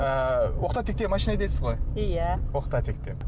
ы оқта текте машина айдайсыз ғой иә оқта текте